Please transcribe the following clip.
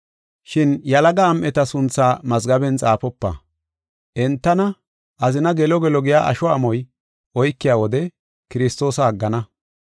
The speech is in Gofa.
Shin yalaga am7eta sunthaa mazgaben xaafopa. Entana azina gelo gelo giya asho amoy oykiya wode Kiristoosa aggana.